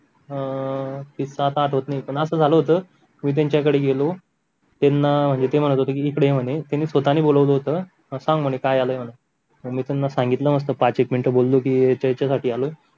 अं किस्सा आता आठवत नाही पण असं झालं होत मी त्यान्च्याकडं गेलो त्यांना म्हणजे ते म्हणत होते कि इकडे ये म्हणे स्वतानी बोलावलं होता कि काय झाले म्हणून मी त्यांना सांगितलं की पाच एक मिनटं बोलो कि याच्यासाठी आलो